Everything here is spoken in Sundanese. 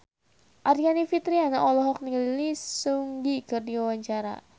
Aryani Fitriana olohok ningali Lee Seung Gi keur diwawancara